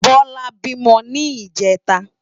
Bola bímò ni ijètá